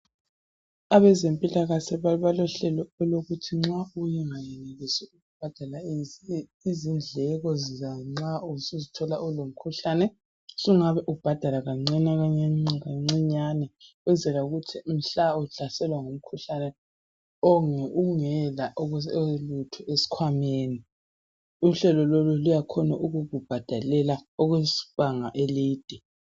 Abazempilakahle balohlelo olokuthi nxa ungenelisi ukubhadala izidleko zanxa usuzithola usulomkhuhlane sungabe ubhadala kancane kancinyane ukwenzela ukuthi mhla uhlaselwa ngumkhuhlane ungela lutho esikhwameni uhlalo lolu luyakhona ukukubhadalela okwesibanga eside.